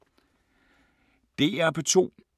DR P2